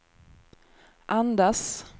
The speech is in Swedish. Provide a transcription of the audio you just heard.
andas